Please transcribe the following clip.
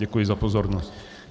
Děkuji za pozornost.